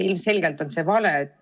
Ilmselgelt on see vale.